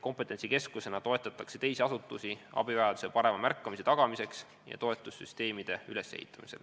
Kompetentsikeskusena toetatakse teisi asutusi, et tagada abivajaduse parem märkamine ja toetussüsteemide ülesehitamine.